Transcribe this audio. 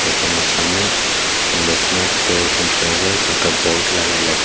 এখানে সামনে Loknath tours and travels একটা বোর্ড লাগাইলাসে।